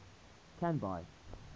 canby